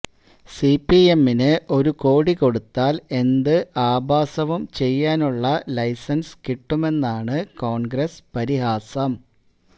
സിപിഎമ്മിന് ഒരുകോടി കൊടുത്താൽ എന്ത് ആഭാസവും ചെയ്യാനുള്ള ലൈസൻസ് കിട്ടുമെന്നാണ് കോൺഗ്രസ് പരിഹാസം